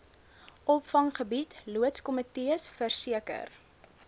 opvanggebied loodskomitees verseker